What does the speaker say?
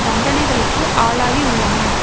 தண்டனைகளுக்கு ஆளாகி உள்ளனர்